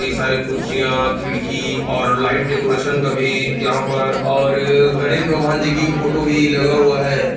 ये सारे कुर्सियां खिड़की और लाइट डेकोरेशन भी यहाँ पर और गणेश भगवान जी की फोटो लगा हुआ है ।